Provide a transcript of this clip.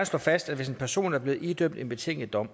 slå fast at hvis en person er blevet idømt en betinget dom